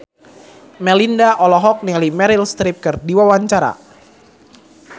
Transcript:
Melinda olohok ningali Meryl Streep keur diwawancara